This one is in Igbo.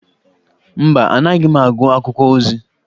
Mba, anaghị m agụ akwụkwọ ozi.